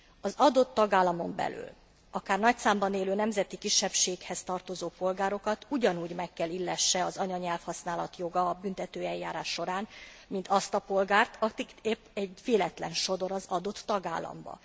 Az adott tagállamon belül, akár nagy számban élő nemzeti kisebbséghez tartozó polgárokat ugyanúgy meg kell illesse az anyanyelvhasználat joga a büntetőeljárás során, mint azt a polgárt, akit épp egy véletlen sodor az adott tagállamba.